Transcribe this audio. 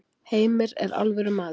Heimir er alvöru maður.